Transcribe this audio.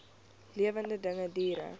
lewende dinge diere